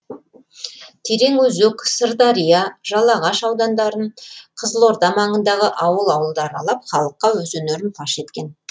тереңөзек сырдария жалағаш аудандарын қызылорда маңындағы ауыл ауылды аралап халыққа өз өнерін паш еткен